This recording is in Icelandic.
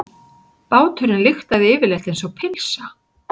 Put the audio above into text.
Báturinn lyktaði yfirleitt einsog pylsa.